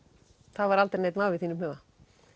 það var aldrei neinn vafi í þínum huga